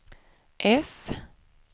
F